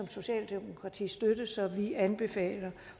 socialdemokratiet støtte så vi anbefaler